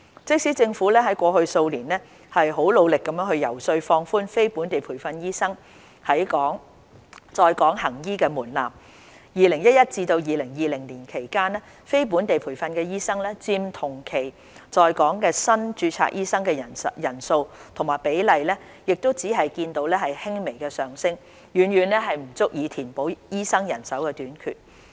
即使政府過去數年努力遊說放寬非本地培訓醫生在港行醫的門檻 ，2011 年至2020年間非本地培訓醫生佔同期在港新註冊醫生的人數及比例亦只見輕微上升，遠遠不足以填補醫生人手短缺。